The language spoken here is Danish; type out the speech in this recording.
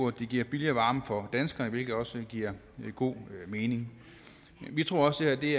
at det giver billigere varme for danskerne hvilket også giver god mening vi tror også det